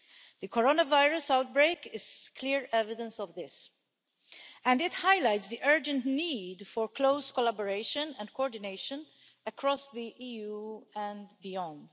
The coronavirus outbreak is clear evidence of this, and it highlights the urgent need for close collaboration and coordination across the EU and beyond.